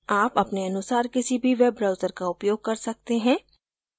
आप अपने अनुसार किसी भी web browser का उपयोग कर सकते हैं